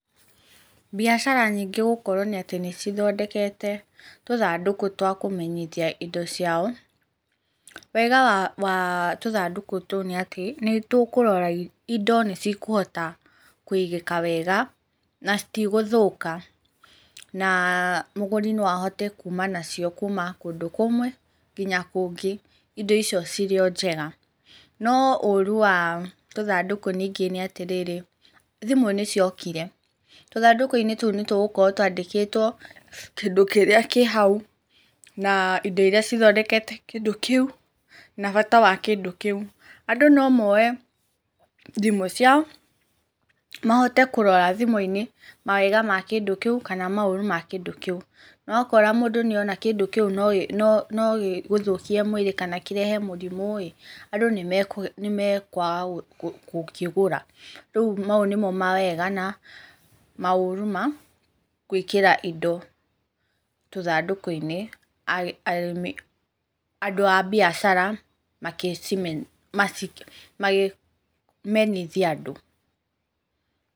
Mbiacara nyingĩ gũkorwo nĩ atĩ nĩcithondekete tũthandũkũ twakũmenyithia indo ciao, wega wa tũthandũkũ tũu nĩ atĩ, nĩtũkũrora, indo nĩcikũhota kũigĩka wega na citigũthũka na mũgũri no ahote kuma nacio kuma kũndũ kũmwe nginya kũngĩ indo icio cirĩ o njega, no ũru wa tũthandũkũ ningĩ nĩ atĩrĩrĩ, thimũ nĩciokire. Tũthandũkũ-inĩ tũu nĩtũgũkorwo twandĩkĩtwo kĩndũ kĩrĩa kĩ hau na indo irĩa cithondekete kĩndũ kĩu na bata wa kĩndũ kĩu. Andũ no mooe thimũ ciao, mahote kũrora thimũ-inĩ mawega ma kĩndũ kĩu, kana maũru ma kĩndũ kĩu. Wakorwo mũndũ nĩona kĩndũ kĩu nogĩgũthũkie mwĩrĩ kana kĩrehe mũrimũ ĩ, andũ nĩmekwaga gũkĩgũra. Rĩu mau nĩmo mawega na maũru ma gwĩkĩra indo tũthandũkũ-inĩ andũ a mbiacara makĩmenyithia andũ.